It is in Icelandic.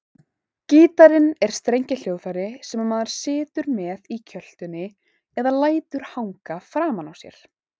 Gítarinn er strengjahljóðfæri sem maður situr með í kjöltunni eða lætur hanga framan á sér.